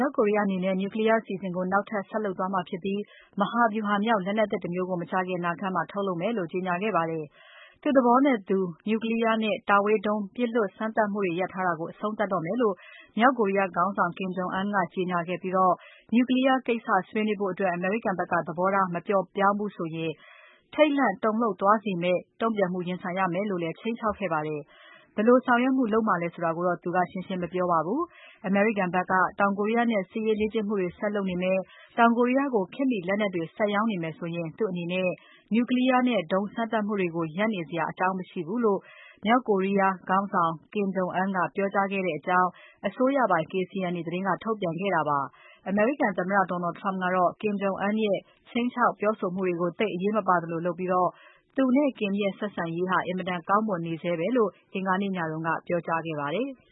ောက်ကိုရီးယားအနေနဲ့ နျူကလီးယား အစီအစဉ်ကို နောက်ထပ် ဆက်လုပ်သွားမှာဖြစ်ပြီး မဟာဗျူဟာ မြောက်လက်နက်သစ် တမျိုးကို မကြာခင်အနာဂါတ်မှာ ထုတ်လုပ်မယ်လို့ ကြေညာခဲ့ပါတယ်။ သူ့သဘောနဲ့သူ နျူကလီးယားနဲ့ တာဝေးဒုံး စမ်းသပ် ပစ်လွှတ်မှုတွေ ရပ်ထားတာကို အဆုံးသတ်တော့မယ်လို့ မြောက်ကိုရီးယားခေါင်းဆောင် Kim Jong Un က ကြေညာခဲ့ပြီး နျူကလီးယားကိစ္စ ဆွေးနွေးဖို့အတွက် အမေရိကန်ဘက်က သဘောထား မပျော့ပြောင်းဘူးဆိုရင် ထိတ်လန့် တုန်လှုပ်သွားစေမယ့် တုံ့ပြန်မှု ရင်ဆိုင်ရမယ်လို့လည်း ခြိမ်းခြောက်ခဲ့ပါတယ်။ ဘယ်လိုဆောင်ရွက်မှု လုပ်မှာလဲဆိုတာကိုတော့ သူကရှင်းရှင်း မပြောပါဘူး။ အမေရိကန်ဘက်က တောင်ကိုရီးယားနဲ့ စစ်ရေးလေ့ကျင့်မှုတွေ ဆက်လုပ်နေမယ်။ တောင်ကိုရီးယားကို ခေတ်မှီလက်နက်တွေ ဆက်ရောင်းနေမယ်ဆိုရင် သူ့အနေနဲ့ Nuclear နဲ့ ဒုံးစမ်းသပ်မှုတွေကို ရပ်နေစရာ အကြောင်းမရှိဘူးလို့ မြောက်ကိုရီးယား ခေါင်းဆောင် Kim Jong Un က ပြောကြားခဲ့တယ်လို့ အစိုးရပိုင် KCNA သတင်းက ထုတ်ပြန်ခဲ့တာပါ။ အမေရိကန်သမ္မတ Donald Trump ကတော့ Kim Jong Un ရဲ့ ခြိမ်းခြောက်မှုတွေကို သိပ်အရေးမပါသလိုလုပ်ပြီး သူနဲ့ Kim ရဲ့ ဆက်ဆံရေးဟာ အင်မတန် ကောင်းမွန်နေဆဲပဲလို့ အင်္ဂါနေ့ညက ပြောကြားခဲ့ပါတယ်။